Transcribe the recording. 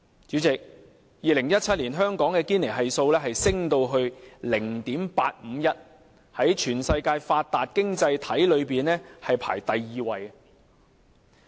主席 ，2017 年香港的堅尼系數上升至 0.539， 在全世界發達經濟體中排行第二。